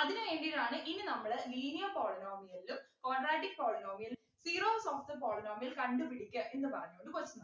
അതിനു വേണ്ടീട്ടാണ് ഇനി നമ്മള് linear polynomial ഉം quadratic polynomial ഉം zeros of the polynomial കണ്ടുപിടിക്കാ എന്ന് പറഞ്ഞു